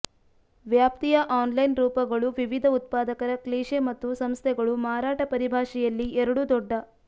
ವ್ಯಾಪ್ತಿಯ ಅನ್ಲೈನ್ ರೂಪಗಳು ವಿವಿಧ ಉತ್ಪಾದಕರ ಕ್ಲೀಷೆ ಮತ್ತು ಸಂಸ್ಥೆಗಳು ಮಾರಾಟ ಪರಿಭಾಷೆಯಲ್ಲಿ ಎರಡೂ ದೊಡ್ಡ